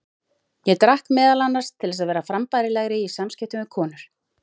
Ég drakk meðal annars til þess að vera frambærilegri í samskiptum við konur.